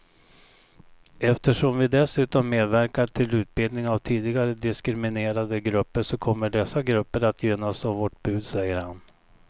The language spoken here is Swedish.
Eftersom vi dessutom medverkar till utbildning av tidigare diskriminerade grupper så kommer dessa grupper att gynnas av vårt bud, säger han.